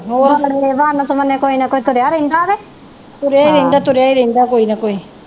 ਹੋਰ ਬੜੇ ਵੰਨ ਸਵੰਨੇ ਕੋਈ ਨਾ ਕੋਈ ਤੁਰਿਆ ਰਹਿੰਦਾ ਤੇ ਤੁਰਿਆ ਈ ਰਹਿੰਦਾ ਤੁਰਿਆ ਈ ਰਹਿੰਦਾ ਕੋਈ ਨਾ ਕੋਈ।